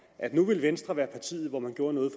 at nu ville venstre være partiet hvor man gjorde noget